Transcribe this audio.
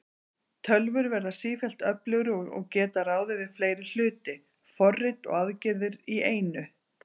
Tölvur verða sífellt öflugri og geta ráðið við fleiri hluti, forrit og aðgerðir í einu.